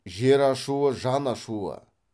жер ашуы жан ашуы